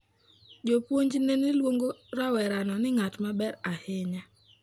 Jopuonjne ne luongo rawerano ni 'ng'at maber ahinya.'